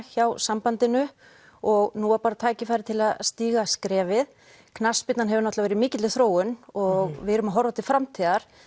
hjá sambandinu og nú var bara tækifæri til að stíga skrefið knattspyrnan hefur náttúrulega verið í mikilli þróun og við erum að horfa til framtíðar